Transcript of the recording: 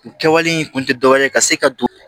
U kɛwale in kun tɛ dɔ wɛrɛ ye ka se ka don